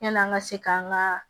Yan'an ka se k'an ka